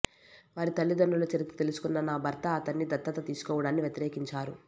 వారి తల్లితండ్రుల చరిత్ర తెలుసుకున్న నా భర్త అతన్ని దత్తత తీసుకోవడాన్ని వ్యతిరేకించారు